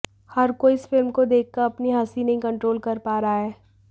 हर कोई इस फिल्म को देखकर अपनी हंसी नहीं कंट्रोल कर पा रहा है